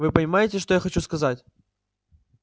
вы понимаете что я хочу сказать